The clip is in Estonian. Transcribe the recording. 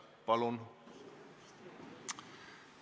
Palun!